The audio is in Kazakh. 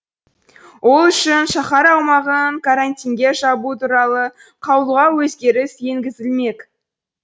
ол үшін шаһар аумағын карантинге жабу туралы қаулыға өзгеріс енігізілмек